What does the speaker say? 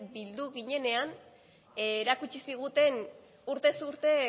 bildu ginenean erakutsi ziguten urtez urte